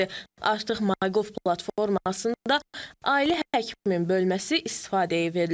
Artıq MyGov platformasında ailə həkiminin bölməsi istifadəyə verilib.